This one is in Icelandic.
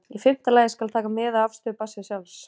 Í fimmta lagi skal taka mið af afstöðu barnsins sjálfs.